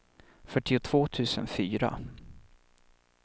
fyrtiotvå tusen fyra